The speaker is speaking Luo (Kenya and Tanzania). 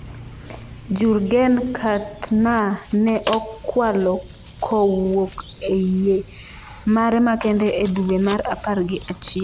Jurgen Kantner ne okwalo kowuok e yie mare makende e duwe mar apar gi achiel.